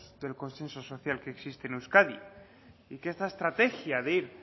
del consenso social que existe en euskadi y que esta estrategia de ir